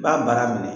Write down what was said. I b'a baara minɛ